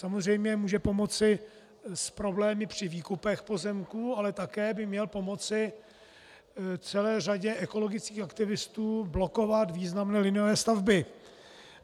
Samozřejmě může pomoci s problémy při výkupech pozemků, ale také by měl pomoci celé řadě ekologických aktivistů blokovat významné liniové stavby.